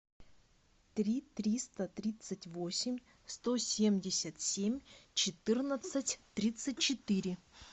три триста тридцать восемь сто семьдесят семь четырнадцать тридцать четыре